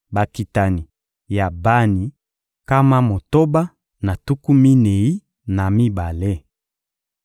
Bakitani ya Bani: nkama motoba na tuku minei na mibale.